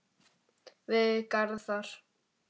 Við Garðar